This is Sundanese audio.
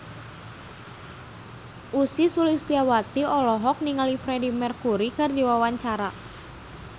Ussy Sulistyawati olohok ningali Freedie Mercury keur diwawancara